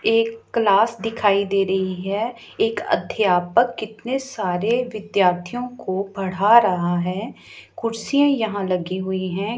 एक क्लास दिखाई दे रही है एक अध्यापक कितने सारे विद्यार्थियों को पढ़ा रहा है कुर्सियां यहां लगी हुई हैं।